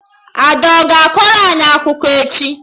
Ada a ga akọrọ anyị akụkọ echi?